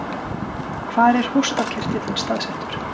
Hvar er hóstarkirtillinn staðsettur?